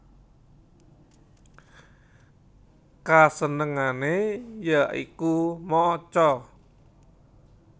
Kasenengane ya iku maca